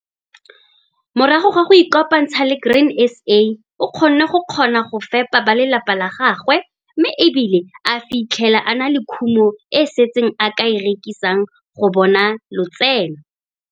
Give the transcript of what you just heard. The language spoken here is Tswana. Morago ga go ikopantsha le Grain SA o kgonne go kgona go fepa ba lelapa la gagwe mme e bile a fitlhela a na le kumo e e setseng e a ka e rekisang go bona lotseno.